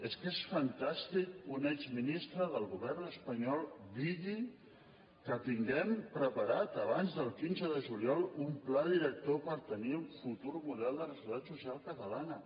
és que és fantàstic que un exministre del govern espanyol digui que tinguem preparat abans del quinze de juliol un pla director per tenir el futur model de la seguretat social catalana